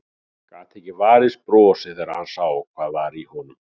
Gat ekki varist brosi þegar hann sá hvað var í honum.